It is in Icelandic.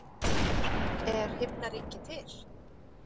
Er himnaríki til?